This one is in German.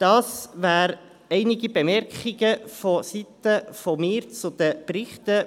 Dies wären einige Bemerkungen von meiner Seite zu den Berichten.